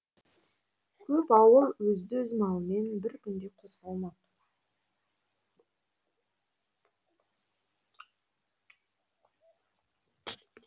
көп ауыл өзді өз малымен бір күнде қозғалмақ